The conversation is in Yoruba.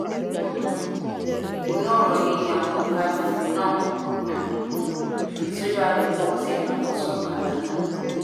um ìbínú ọ̀rọ̀ yìí ni àwọn ọ̀dọ́ àgbègbè náà um fi tú jáde tí wọ́n sì dáná sun ọ̀kadà náà